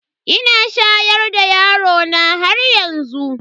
Ina shayar da yarona haryanzu.